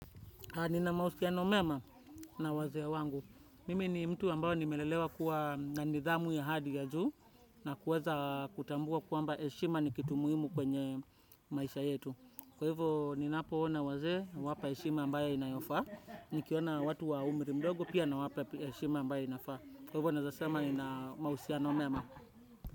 Nina mahusiano mema na wazee wangu. Mimi ni mtu ambao nimelelewa kuwa na nidhamu ya hali ya juu na kuweza kutambua kwamba heshima ni kitu muhimu kwenye maisha yetu. Kwa hivyo, ninapoona wazee huwapa heshima ambayo inayofaa. Nikiona watu wa umri mdogo pia nawapa heshima ambayo inafaa. Kwa hivyo, naezasema nina mahusiano mema.